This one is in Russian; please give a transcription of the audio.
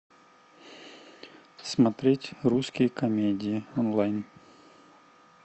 смотреть русские комедии онлайн